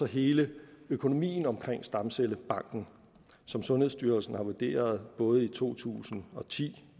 hele økonomien omkring stamcellebanken som sundhedsstyrelsen har vurderet både i to tusind og ti